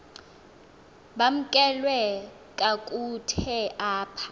bamkelwe kakuhte apha